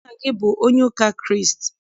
Nna gị abụ onye ụka Kraịst?